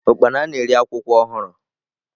Ukpana na-eri akwụkwọ ọhụrụ.